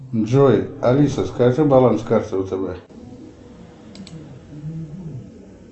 джой алиса скажи баланс карты втб